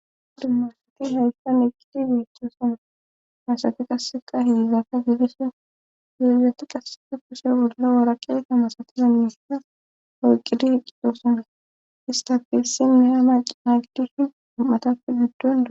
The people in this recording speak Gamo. Dumma asati hayssan eqqidi biishthoo same masati qasseqa hildaka gidisin geezati qassea kushe bolla waraqeeka masati bannisssa hoyqidi heqqitoo same istafilsinne hama naagidushin um;atafe guddona